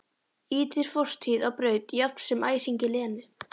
Ýtir fortíð á braut jafnt sem æsingi Lenu.